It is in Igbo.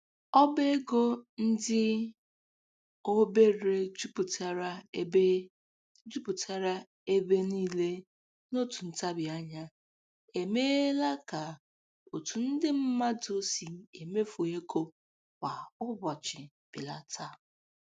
Ọba ego ndị obere juputara ebe juputara ebe niile n'otu ntabianya emeela ka otu ndị mmadụ si emefu ego kwa ụbọchị belata